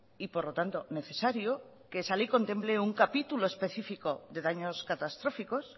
y por lo tanto necesario que esa ley contemple un capítulo específico de daños catastróficos